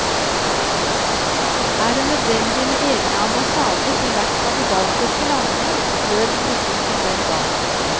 Er det nødvendig med egne ambassader i hvert av de baltiske landene, lød kritikken den gang.